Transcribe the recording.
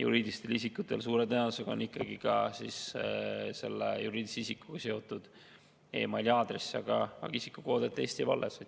juriidilistel isikutel suure tõenäosusega on ikkagi ka selle juriidilise isikuga seotud e‑maili aadress, aga isikukood@eesti.ee jääb alles.